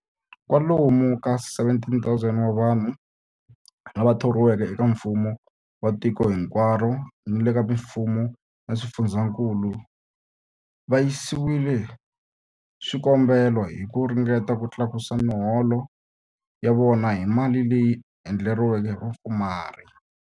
Kwalomu ka 17,000 wa vanhu lava thoriweke eka mfumo wa tiko hinkwaro ni le ka mifumo ya swifundzankulu va yisile swikombelo hi ku ringeta ku tlakusa miholo ya vona hi mali leyi endleriweke vapfumari.